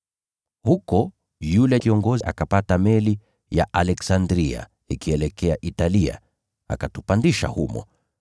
Huko yule kiongozi wa askari akapata meli ya Iskanderia ikielekea Italia, akatupandisha humo.